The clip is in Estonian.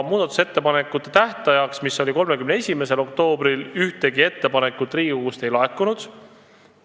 Muudatusettepanekute tähtajaks, mis oli 31. oktoober, ühtegi ettepanekut Riigikogust ei laekunud.